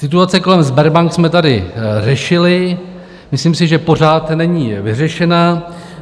Situaci kolem Sberbank jsme tady řešili, myslím si, že pořád není vyřešena.